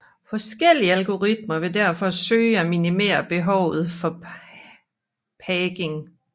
Forskellige algoritmer vil derfor søge at minimere behovet for paging